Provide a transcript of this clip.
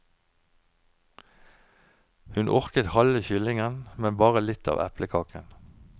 Hun orket halve kyllingen, men bare litt av eplekaken.